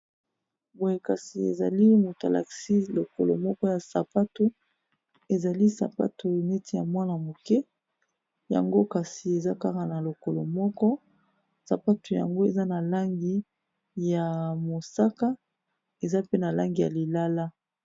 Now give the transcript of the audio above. Boye kasi ezali moto alakisi lokolo moko ya sapatu ezali sapatu neti ya mwana moke yango kasi eza kaka na lokolo moko sapatu yango eza na langi ya mosaka eza pe na langi ya lilala.